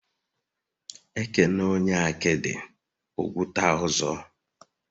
Ekele onye akidi, ogwuta ọzọ